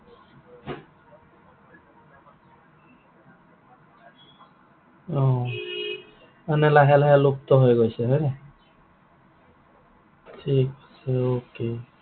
অ, মানে লাহে লাহে লুপ্ত হৈ গৈছে হয় নাই? ঠিক আছে okay